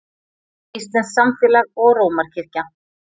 Íslenskt samfélag og Rómarkirkja.